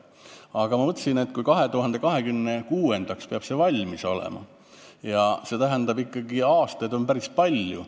Aga ma mõtlesin, et 2026. aastaks peab see piir valmis olema ja see tähendab ikkagi, et aastaid on selle ajani päris palju.